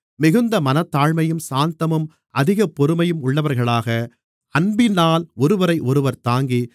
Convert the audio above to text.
மிகுந்த மனத்தாழ்மையும் சாந்தமும் அதிக பொறுமையும் உள்ளவர்களாக அன்பினால் ஒருவரையொருவர் தாங்கி